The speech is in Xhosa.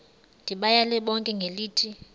ndibayale bonke ngelithi